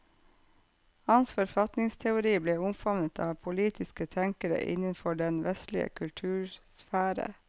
Hans forfatningsteori ble omfavnet av politiske tenkere innenfor den vestlige kultursfære.